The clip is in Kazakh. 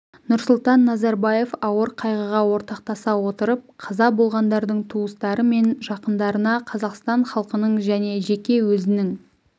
нұрсұлтан назарбаев ауыр қайғыға ортақтаса отырып қаза болғандардың туыстары мен жақындарына қазақстан халқының және жеке өзінің